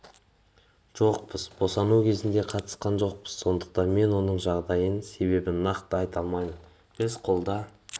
жоқпыз босану кезіне қатысқан жоқпыз сондықтан мен оның жағдайының себебін нақты айта алмаймын біз қолда